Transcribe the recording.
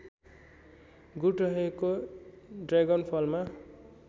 गुण रहेको ड्रागनफलमा